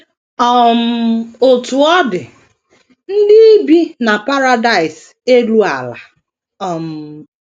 um Otú ọ dị, ndị ibi na paradaịs elu ala um.